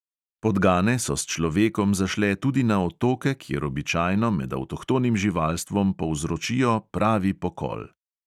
Podgane so s človekom zašle tudi na otoke, kjer običajno med avtohtonim živalstvom povzročijo pravi pokol.